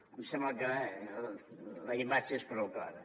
em sembla que la imatge és prou clara